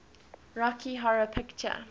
rocky horror picture